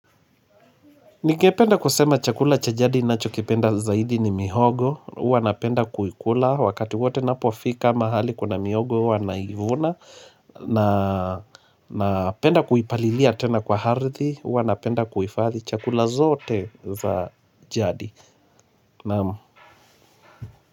Ningependa kusema chakula cha jadi ninacho kipenda zaidi ni mihogo Huwa napenda kuikula wakati wote napo fika mahali kuna mihogo wanaivuna na penda kuipalilia tena kwa ardhi Huwa napenda kuifadhi chakula zote za jadi Naamu.